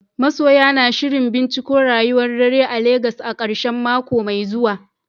Masoya na shirin binciko rayuwar dare a Legas a karshen mako mai zuwa.